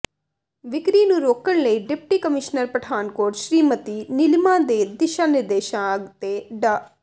ਵਿਕਰੀ ਨੂੰ ਰੋਕਣ ਲਈ ਡਿਪਟੀ ਕਮਿਸ਼ਨਰ ਪਠਾਨਕੋਟ ਸ਼੍ਰੀਮਤੀ ਨੀਲਿਮਾ ਦੇ ਦਿਸ਼ਾ ਨਿਰਦੇਸ਼ਾਂ ਅਤੇ ਡਾ